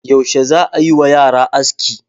Yaushe za a yi wa yara aski?